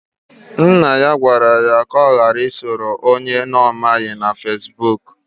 Nna ya gwara ya ka ọ ghara iso onye ọ maghị na Fesbụụk.